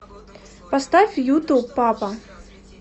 поставь юту папа